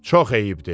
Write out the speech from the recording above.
Çox eyibdir.